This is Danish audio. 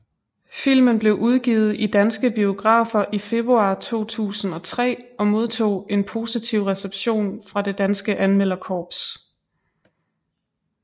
Filmen blev udgivet i danske biografer i februar 2003 og modtog en positiv reception fra det danske anmelderkorps